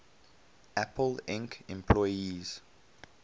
apple inc employees